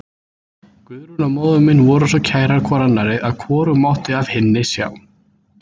Guðrún og móðir mín voru svo kærar hvor annarri að hvorug mátti af hinni sjá.